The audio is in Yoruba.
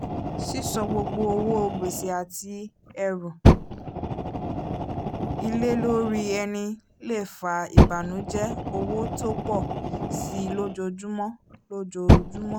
sísọ gbogbo owó gbèsè àti ẹ̀rù ilé lórí ẹni le fà ìbànùjẹ́ owó tó pọ̀ síi lójoojúmọ́ lójoojúmọ́